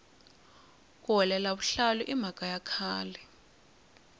ku hulela vuhlalu i mhaka ya khale